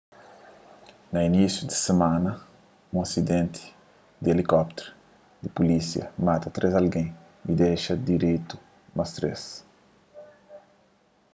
na inisiu des simana un asidenti di elikópteru di pulísia mata três algen y dexa diridu más três